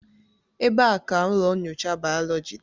Ebee ka ụlọ nyocha bayoloji dị?